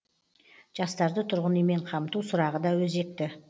жастарды тұрғын үймен қамту сұрағы да өзекті